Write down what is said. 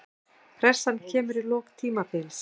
Pressan kemur í lok tímabils.